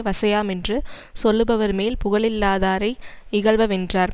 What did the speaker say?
வசையாமென்று சொல்லுவர் மேல் புகழில்லாதாரை யிகழ்பவென்றார்